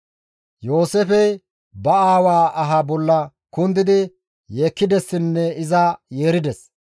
Yooseefey ba aawaa aha bolla kundidi yeekkidessinne iza yeerides.